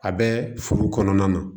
A bɛ furu kɔnɔna na